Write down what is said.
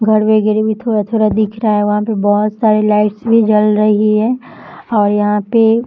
घर वगैरे भी थोड़ा-थोड़ा दिख रहा है वहाँ पे बहुत सारे लाइटस भी जल रही है और यहाँ पे --